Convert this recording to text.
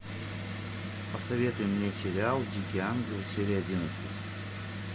посоветуй мне сериал дикий ангел серия одиннадцать